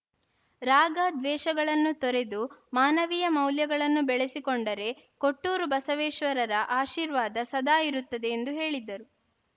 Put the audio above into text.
ರಾಗ ದ್ವೇಷಗಳನ್ನು ತೊರೆದು ಮಾನವೀಯ ಮೌಲ್ಯಗಳನ್ನು ಬೆಳೆಸಿಕೊಂಡರೆ ಕೊಟ್ಟೂರು ಬಸವೇಶ್ವರರ ಆಶೀರ್ವಾದ ಸದಾ ಇರುತ್ತದೆ ಎಂದು ಹೇಳಿದರು